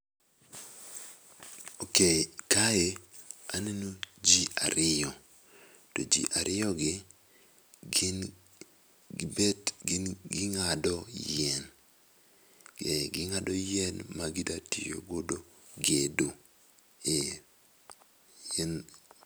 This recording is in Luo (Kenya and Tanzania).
Ok kae aneno ji ariyo, to ji ariyo gi bet gin ng'ado yien, ee gi ng'ado yien ma gi dwa tiyo godo gedo.